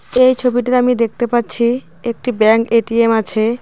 এই ছবিটিতে আমি দেখতে পাচ্ছি একটি ব্যাংক এ_টি_এম আছে.